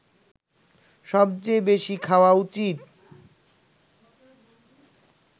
সবচেয়ে বেশি খাওয়া উচিত